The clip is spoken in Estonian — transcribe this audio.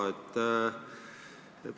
Ah jaa, siiski on: 300 ja enam.